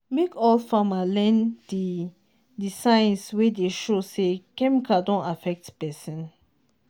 make all farmer learn the the signs wey dey show say chemical don affect person.